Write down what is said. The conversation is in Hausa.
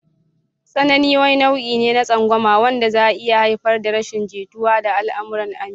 Tsanani wani nau'i ne na tsangwama wanda zai iya haifar da rashin jituwa da al'amuran aminci.